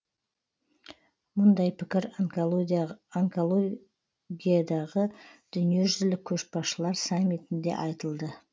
мұндай пікір онкология дағы дүниежүзілік көшбасшылар саммитінде айтылды